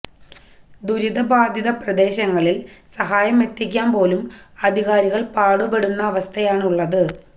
ദുരിതബാധിത പ്രദേശങ്ങളിൽ സഹായം എത്തിക്കാൻ പോലും അധികാരികൾ പാടുപെടുന്ന അവസ്ഥയാണുള്ളത്